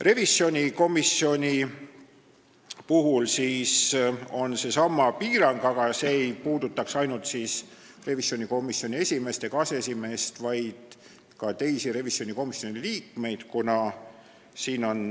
Revisjonikomisjoni puhul on seesama piirang, aga see ei puudutaks ainult revisjonikomisjoni esimeest ega aseesimeest, vaid ka teisi liikmeid, kuna siin on